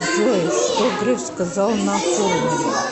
джой что греф сказал на форуме